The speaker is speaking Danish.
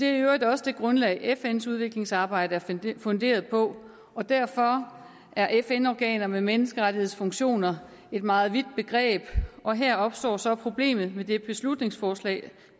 øvrigt også det grundlag fns udviklingsarbejde er funderet på og derfor er fn organer med menneskerettighedsfunktioner et meget vidt begreb og her opstår så problemet med det beslutningsforslag